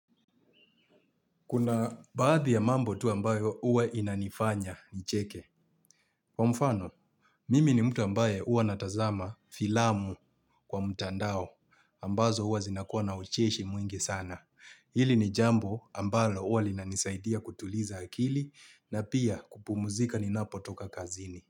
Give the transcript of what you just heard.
Kuna baadhi ya mambo tu ambayo uwa inanifanya nicheke. Kwa mfano, mimi ni mtu ambaye uwa natazama filamu, kwa mtandao ambazo huwa zinakua na ucheshi mwingi sana. Hili ni jambo, ambalo, uwa linanisaidia kutuliza akili na pia, kupumzika ninapotoka kazini.